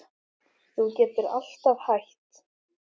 Þú getur alltaf hætt